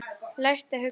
Lært að hugsa.